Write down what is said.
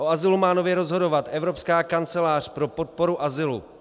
O azylu má nově rozhodovat Evropská kancelář pro podporu azylu.